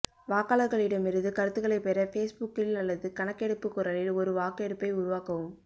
வாக்காளர்களிடமிருந்து கருத்துகளைப் பெற பேஸ்புக்கில் அல்லது கணக்கெடுப்பு குரலில் ஒரு வாக்கெடுப்பை உருவாக்கவும்